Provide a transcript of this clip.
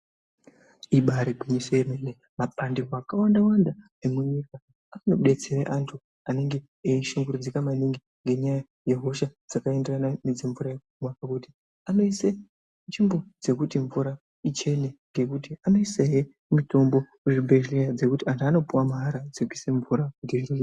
Ibaari gwinyiso remene mabandiko akawanda wanda emunyika anodetsera antu anenge eishungurudzika maningi nenyaya dzehosha dzakaenderana nedzemvura yekumwa. Ngekuti anoise chimumbutizvekuti mvura ichene. Anoisa he mutombo kuzvibhendlera wekuti antu anopuwa mahala